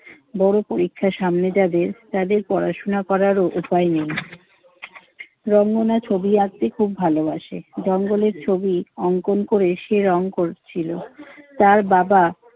বড় পরীক্ষা সামনে যাদের তাদের পড়াশোনা করার উপায় নেই। রঙ্গনা ছবি আঁকতে খুব ভালোবাসে। জঙ্গলের ছবি অংকন করে সে রং করছিল। তার বাবা